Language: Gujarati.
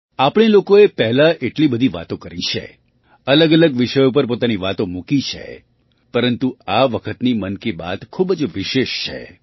આપણે લોકોએ પહેલાં એટલી બધી વાતો કરી છે અલગઅલગ વિષયો પર પોતાની વાતો મૂકી છે પરંતુ આ વખતની મન કી બાત ખૂબ જ વિશેષ છે